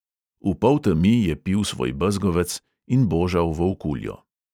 V poltemi je pil svoj bezgovec in božal volkuljo.